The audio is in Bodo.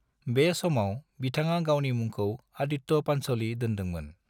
बे समाव बिथाङा गावनि मुंखौ आदित्य पंचोली दोनदोंमोन।